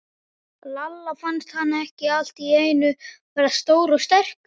Lalla fannst hann allt í einu verða stór og sterkur.